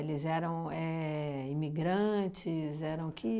eram éh imigrantes? Eram que